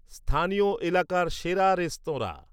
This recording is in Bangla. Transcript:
স্থানীয় এলাকার সেরা রেস্তরাঁঁ